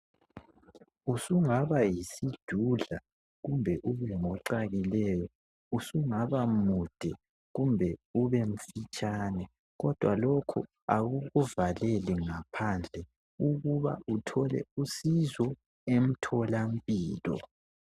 Usungaba yisidudla kumbe ube ngocakileyo usungaba mude kumbe ube mfitshane kodwa lokho akukuvaleli ngaphandle ukuba uthole usizo emtholampilo.